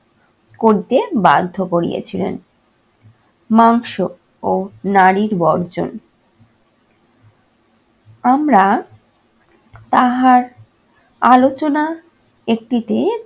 করিতে বাধ্য করিয়েছিলেন। মাংস ও নারীর বর্জন। আমরা তাহার আলোচনা একটিতে